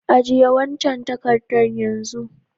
Ajie wancan takadan yanzun!